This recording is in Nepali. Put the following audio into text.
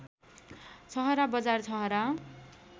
छहरा बजार छहरा